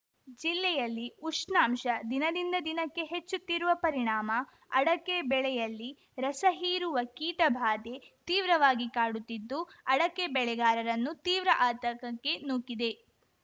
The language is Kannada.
ಜಿಲ್ಲೆಯಲ್ಲಿ ಉಷ್ಣಾಂಶ ದಿನದಿಂದ ದಿನಕ್ಕೆ ಹೆಚ್ಚುತ್ತಿರುವ ಪರಿಣಾಮ ಅಡಕೆ ಬೆಳೆಯಲ್ಲಿ ರಸ ಹೀರುವ ಕೀಟ ಬಾಧೆ ತೀವ್ರವಾಗಿ ಕಾಡುತ್ತಿದ್ದು ಅಡಕೆ ಬೆಳೆಗಾರರನ್ನು ತೀವ್ರ ಆತಂಕಕ್ಕೆ ನೂಕಿದೆ